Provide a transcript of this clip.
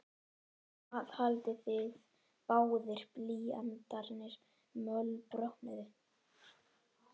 Og hvað haldið þið báðir blýantarnir mölbrotnuðu!